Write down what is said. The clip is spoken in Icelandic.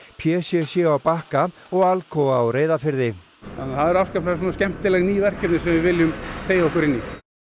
p c c á Bakka og Alcoa á Reyðarfirði þannig að það eru afskaplega skemmtileg ný verkefni sem við viljum teygja okkur inn í